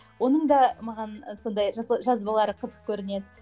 оның да маған сондай жазбалары қызық көрінеді